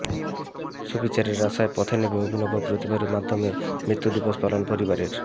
সুবিচারের আশায় পথে নেমে অভিনব প্রতিবাদের মাধ্যমেই মৃত্যু দিবস পালন পরিবারের